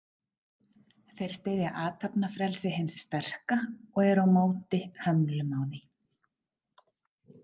Þeir styðja athafnafrelsi hins sterka og eru á móti hömlum á því.